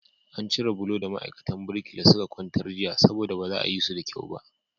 An cire bulo da ma'aikatan birkila suka kwantar jiya saboda ba a yi su da kyau ba.